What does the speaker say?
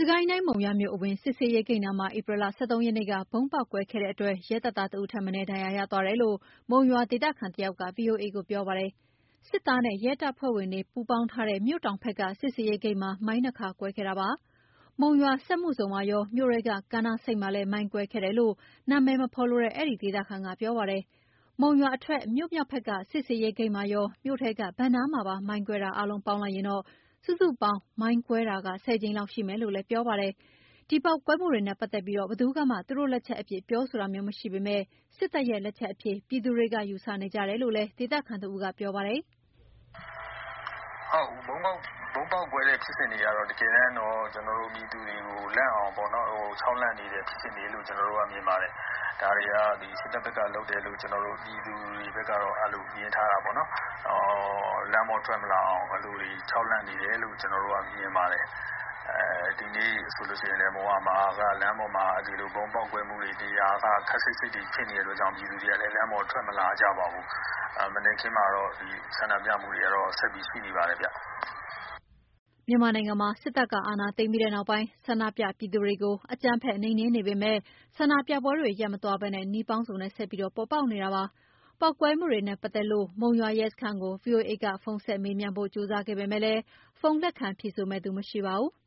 ကိုင်းတိုင်း၊ မုံရွာမြို့အဝင်စစ်ဆေးရေးဂိတ်နားမှာ ဧပြီ ၁၃ ရက်နေ့က ဗုံးပေါက်ကွဲခဲ့တဲ့အတွက် ရဲတပ်သား တဦးထက်မနည်း ဒဏ်ရာရသွားတယ်လို့ မုံရွာဒေသခံတယောက်က ဗွီအိုအေကို ပြောပါတယ်။ စစ်သားနဲ့ ရဲတပ်ဖွဲ့ဝင်တွေ ပူးပေါင်းထားတဲ့ မြို့တောင်ဖက်က စစ်ဆေးရေးဂိတ်မှာ မိုင်း ၂ ခါကွဲခဲ့တာပါ။ မုံရွာစက်မှုဇုံမှာရော မြို့ထဲက ကမ်းနားဆိပ်မှာလည်း မိုင်းကွဲခဲ့တယ်လို့ နာမည်မဖော်လိုတဲ့အဲဒီဒေသခံက ပြောပါတယ်။ မုံရွာအထွက် မြို့မြောက်ဖက်က စစ်ဆေးရေးဂိတ်မှာရော မြို့ထဲက ဘဏ်နားမှာပါမိုင်းကွဲတာအားလုံးပေါင်းရင် စုစုပေါင်း မိုင်းကွဲတာ ၁၀ ကြိမ်လောက်ရှိတယ်လို့လည်း ပြောပါတယ်။ ဒီပေါက်ကွဲမှုတွေနဲ့ပတ်သက်ပြီးဘယ်သူကမှသူတို့လက်ချက်အဖြစ် ပြောဆိုတာမျိုးမရှိပေမယ့် စစ်တပ်ရဲ့လက်ချက်အဖြစ် ယူဆသူတွေရှိတယ်လို့ ဒေသခံတဦးက ပြောပါတယ်။ “ ဗုံးပေါက်ကွဲတဲ့ဖြစ်စဉ်တွေက တကယ်တော့ ပြည်သူတွေလန့်အောင် ခြောက်လှန့်နေတဲ့ဖြစ်စဉ်လို့ ကျနော်တို့မြင်ပါတယ်။ ဒါတွေက စစ်တပ်ဖက်က လုပ်တယ်လို့ ကျနော်တို့ပြည်သူတွေကတော့ မြင်ထားတာပေါ့နော်။ လမ်းပေါ်ထွက်မလာအောင် အဲဒီလိုခြောက်လှန့်နေတယ်လု့ိ ကျနော်တို့မြင်ပါတယ်။ ဒီနေ့ဆိုလို့ရှိရင်လည်း မုံရွာမှာက လမ်းပေါ်မှာ ဗုံးပေါက်ကွဲတဲ့နေရာက ခပ်စိပ်စိပ်ဖြစ်နေတာကြောင့်မို့လို့ ပြည်သူတွေကလည်း လမ်းပေါ်ထွက်မလာကြပါဘူး။ မနက်ခင်းမှာတော့ ဆန္ဒပြမှုတွေကတော့ ဆက်ရှိနေပါတယ်ဗျ” မြန်မာနိုင်ငံမှာ စစ်တပ်က အာဏာသိမ်းပြီးနောက်ပိုင်း ဆန္ဒုပြပြည်သူတွေကို အကြမ်းဖက်နှိမ်နှင်းနေပေမယ့် ဆန္ဒပြပွဲတွေရပ်မသွားပဲ နည်းပေါင်းစုံနဲ့ဆက်ပြီးပေါ်ပေါက်နေတာဖြစ်ပါတယ်။ ပေါက်ကွဲမှုတွေနဲ့ပတ်သက်လို မုံရွာရဲစခန်းကို ဗွီအိုအေက ဖုန်းဆက်မေးမြန်းဖို့ ကြိုးစားခဲ့ပေမယ့် ဖုန်းလက်ခံဖြေဆိုမယ့်သူမရှိပါဘူး။